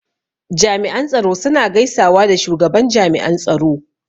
Jami'an tsaro suna gaisawa da shugaban jami'an tsaro.